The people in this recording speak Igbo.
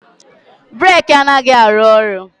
Breeki a naghizi arụ ọrụ